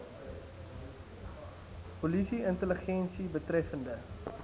polisie intelligensie betreffende